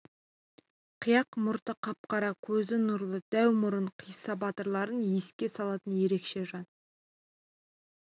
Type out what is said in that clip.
қияқ мұрты қап-қара көзі нұрлы дәу мұрын қисса батырларын еске салатын ерекше жан